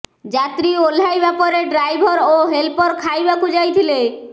ଯାତ୍ରୀ ଓହ୍ଲାଇବା ପରେ ଡ୍ରାଇଭର ଓ ହେଲପର ଖାଇବାକୁ ଯାଇଥିଲେ